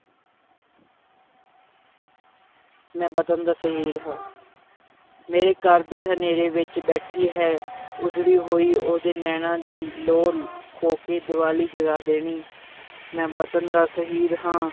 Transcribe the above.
ਮੈਂ ਵਤਨ ਦਾ ਸ਼ਹੀਦ ਹਾਂ ਮੇਰੇ ਘਰ ਦੇ ਹਨੇਰੇ ਵਿੱਚ ਬੈਠੀ ਹੈ ਉਜੜੀ ਹੋਈ ਉਹਦੇ ਨੈਣਾਂ ਦੀ ਲੋ ਖੋਹ ਕੇ, ਦੀਵਾਲੀ ਜਗਾ ਦੇਣੀ ਮੈਂ ਵਤਨ ਦਾ ਸ਼ਹੀਦ ਹਾਂ,